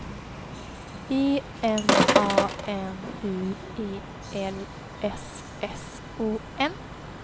E M A N U E L S S O N